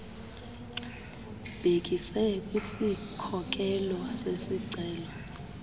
ubhekise kwisikhokelo sesicelo